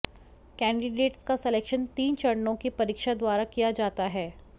candidates का selection तीन चरणों की परीक्षा द्वारा किया जाता है